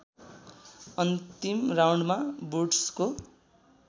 अन्तिम राउन्डमा वुड्सको